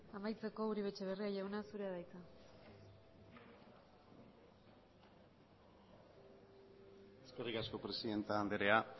amaitzeko uribe etxebarria jauna zurea da hitza eskerrik asko presidente andrea